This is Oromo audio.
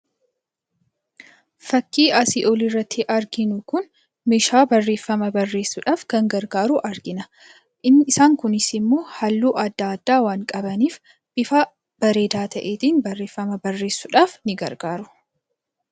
Fakkii asii olirratti arginu kun meeshaa barreeffama barreessuudhaaf kan gargaaru argina. Isaan kunis immoo halluu adda addaa waan qabaniif, bifa bareedaa ta'eetiin barreeffama barreessuudhaaf ni gargaaru.